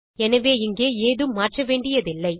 எனவே இங்கே ஏதும் மாற்றவேண்டியதில்லை